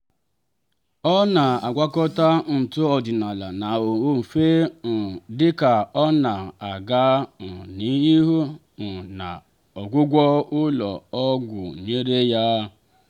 ọ na-agwakọta ntụ ọdịnala na ofe um dịka ọ na-aga um n'ihu um na ọgwụgwọ ụlọ ọgwụ nyere ya.